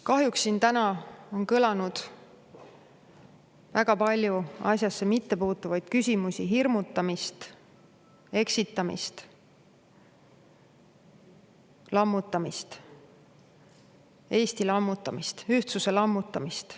Kahjuks siin täna on kõlanud väga palju asjasse mittepuutuvaid küsimusi, hirmutamist, eksitamist, lammutamist – Eesti lammutamist, ühtsuse lammutamist.